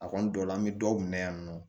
A kɔni dɔ la an bɛ dɔw minɛ yan nɔ